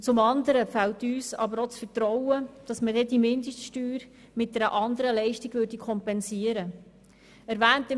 Und zum anderen fehlt uns auch das Vertrauen, dass diese Mindeststeuer mit einer anderen Leistung kompensiert würde.